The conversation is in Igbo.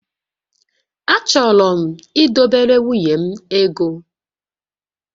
Achọrọ m idobere nwunye m ego